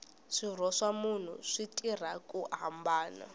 swirho swa munhu swi tirha ku hambana